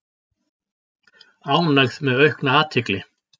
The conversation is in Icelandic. Ánægð með aukna athygli